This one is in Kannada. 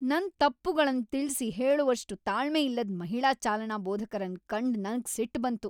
ನನ್ ತಪ್ಪುಗಳನ್ ತಿಳ್ಸಿ ಹೇಳುವಷ್ಟ್ ತಾಳ್ಮೆಯಿಲ್ಲದ್ ಮಹಿಳಾ ಚಾಲನಾ ಬೋಧಕರನ್ ಕಂಡ್ ನಂಗ್ ಸಿಟ್ ಬಂತು.